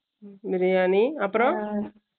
பிரியாணி அப்பறம்